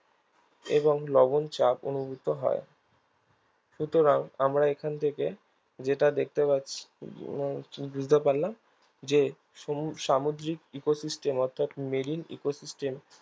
এবং লবনচাপ অনুভূত হয় সুতরাং আমরা এখান থেকে যেটা দেখতে পাচ্ছি বুঝতে পারলাম যে সমু সামুদ্রিক ecosystem অর্থাৎ marineecosystem